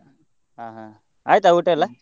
ಹಾ ಹಾ, ಆಯ್ತಾ ಊಟ ಎಲ್ಲಾ?